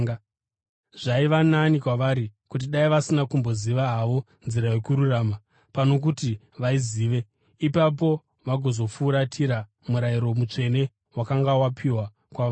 Zvaiva nani kwavari kuti dai vasina kumboziva havo nzira yokururama, pano kuti vaizive, ipapo vagozofuratira murayiro mutsvene wakanga wapiwa kwavari.